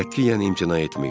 Qətiyyən imtina etməyin.